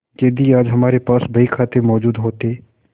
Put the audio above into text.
यदि आज हमारे पास बहीखाते मौजूद होते